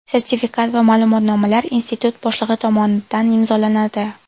Sertifikat va ma’lumotnomalar institut boshlig‘i tomonidan imzolanadi.